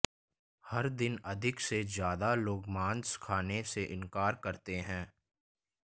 हर दिन अधिक से ज्यादा लोग मांस खाने से इनकार करते हैं